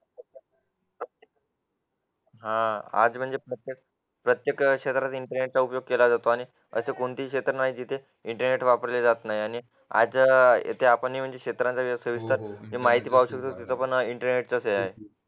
हा आज म्हणजे फक्त प्रत्येक क्षेत्रातील इंटरनेटचा उपयोग केला जातो आणि असे कोणते क्षेत्र नाही जिथे इंटरनेट वापरले जात नाही आणि आज येथे नियोजक क्षेत्रांचा वापर माहिती इंटरनेटमुळे शक्य आहे